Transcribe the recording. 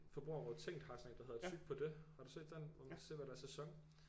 Forbrugerrådet Tænk har sådan en der hedder tyg på det har du set den hvor man kan se hvad der er i sæson